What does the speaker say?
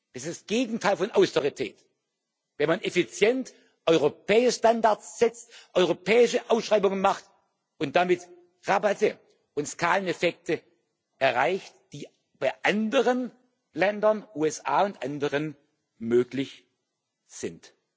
Es ist das Gegenteil von Austerität, wenn man effizient europäische Standards setzt, europäische Ausschreibungen macht und damit Rabatte und Skaleneffekte erreicht, die bei anderen Ländern USA und anderen möglich sind.